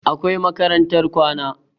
Akwai makarantar kwana